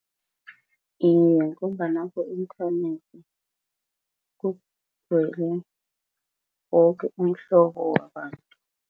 Iye, ngombana ku-inthanethi kugcwele woke umhlobo wabantu.